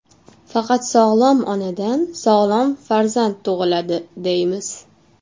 Faqat sog‘lom onadan sog‘lom farzand tug‘iladi, deymiz.